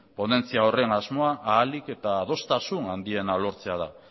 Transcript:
ponentzia horren asmoa ahalik eta adostasun handiena lortzea da